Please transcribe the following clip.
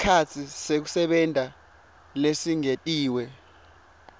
sikhatsi sekusebenta lesingetiwe